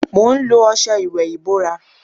Mo ń lo ọṣẹ ìwè ibóra.